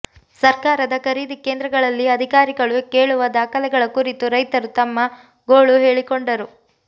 ಸರ್ಕಾರದ ಖರೀದಿ ಕೇಂದ್ರಗಳಲ್ಲಿ ಅಧಿಕಾರಿಗಳು ಕೇಳುವ ದಾಖಲೆಗಳ ಕುರಿತು ರೈತರು ತಮ್ಮ ಗೋಳು ಹೇಳಿಕೊಂಡರು